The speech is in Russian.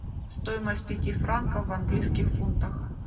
стоимость пяти франков в английских фунтах